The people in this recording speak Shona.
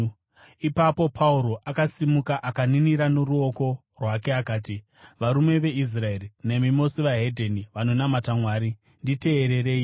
Ipapo Pauro akasimuka, akaninira noruoko rwake akati, “Varume veIsraeri nemi mose vedzimwe ndudzi vanonamata Mwari, nditeererei!